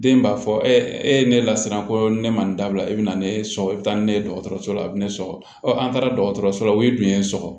Den b'a fɔ e ye ne lasiran ko ne ma nin dabila e bɛ na ne sɔgɔ e bɛ taa ni ne ye dɔgɔtɔrɔso la a bɛ ne sɔgɔ ɔ an taara dɔgɔtɔrɔso la o ye dun ye sɔgɔ